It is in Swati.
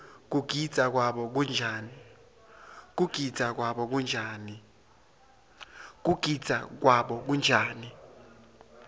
kugidza kwabo kunjani